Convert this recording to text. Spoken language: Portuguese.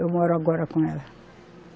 Eu moro agora com ela.